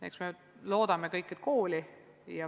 Eks me kõik loodame, et ikka kooli.